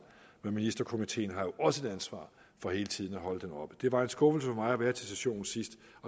men ministerkomiteen har jo også et ansvar for hele tiden at holde dem oppe det var en skuffelse for mig at være til sessionen sidst